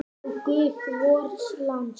Ó, guð vors lands!